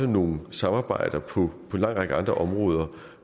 nogle samarbejder på en lang række andre områder